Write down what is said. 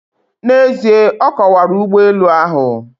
N'ezie, ọ kọwara ụgbọelu ahụ.